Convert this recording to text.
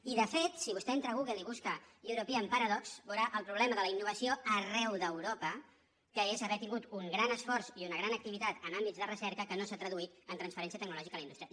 i de fet si vostè entra a google i busca european paradox veurà el problema de la innovació arreu d’europa que és haver tingut un gran esforç i una gran activitat en àmbits de recerca que no s’ha traduït en transferència tecnològica a la indústria